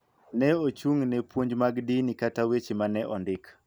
Ne ochung�ne puonj mag dini kata weche ma ne ondik.